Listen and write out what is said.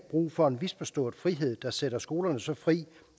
brug for en misforstået frihed der sætter skolerne så fri